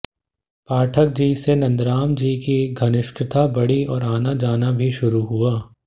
पाठक जी से नंदराम जी की घनिष्ठता बढी और आना जाना भी शुरू हुआ